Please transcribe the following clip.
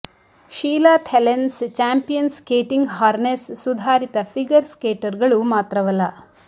ಶೀಲಾ ಥೆಲೆನ್ಸ್ champion skating harness ಸುಧಾರಿತ figure ಸ್ಕೇಟರ್ಗಳು ಮಾತ್ರವಲ್ಲ